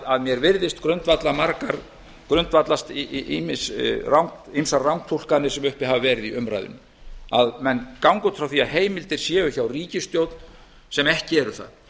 að mér virðist grundvallast ýmsar rangtúlkanir sem uppi hafa verið í umræðunni að menn ganga út frá því að heimildir séu hjá ríkisstjórn sem ekki eru það